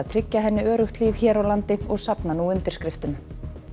tryggja henni öruggt líf hér á landi og safna nú undirskriftum